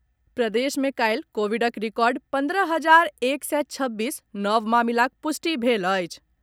प्रदेश मे काल्हि कोविडक रिकॉर्ड पन्द्रह हजार एक सय छब्बीस नव मामिलाक पुष्टि भेल अछि।